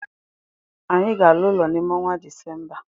Anyị ga ala ụlọ n'ime onwa December.